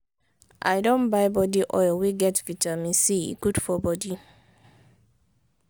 i don buy body oil wey get vitamin c e good for bodi.